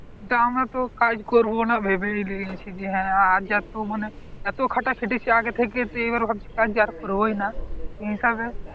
আমরা তো কাজ করব না ভেবে নিয়েছি হ্যাঁ আর আজ এত মানে এত খাটা কেটেছে আগে থেকে তো এবার কাজ আর করবই না হিসাবে